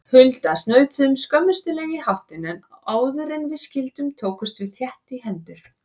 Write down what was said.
Hulda snautuðum skömmustuleg í háttinn, en áðuren við skildum tókumst við þétt í hendur.